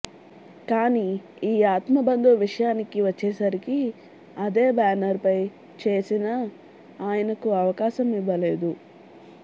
కానీ ఈ ఆత్మ బంధువు విషయానికి వచ్చేసరికి అదే బ్యానర్ పై చేసినా ఆయనకు అవకాసం ఇవ్వలేదు